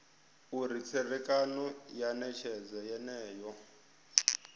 uri tserekano ya netshedzo yeneyo